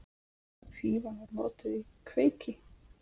Fífan var notuð í kveiki.